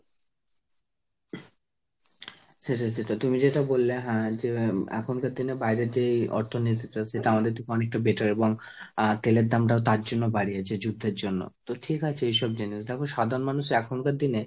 সেটাই সেটাই। তুমি যেটা বললে হ্যাঁ যে এখনকার দিনে বাইরের যে অর্থনীতিটা সেটা আমাদের থেকে অনেকটা better এবং আহ তেলের দামটা তার জন্যই বাড়িয়েছে, যুদ্ধের জন্য। তো ঠিক আছে এসব জিনিস। তো দেখো সাধারণ মানুষ এখনকার দিনে,